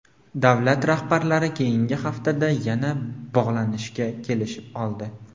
Davlat rahbarlari keyingi haftada yana bog‘lanishga kelishib oldi.